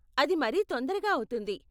అది మరీ తొందరగా అవుతుంది.